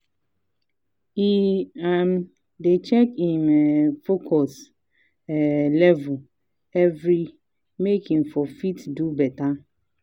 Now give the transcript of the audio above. he um dey check him um focus um level every make him for fit do better